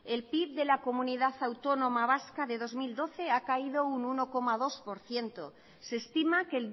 el pib de la comunidad autónoma vasca de dos mil doce ha caído un uno coma dos por ciento se estima que